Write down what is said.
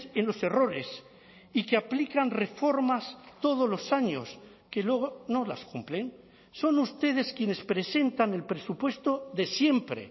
en los errores y que aplican reformas todos los años que luego no las cumplen son ustedes quienes presentan el presupuesto de siempre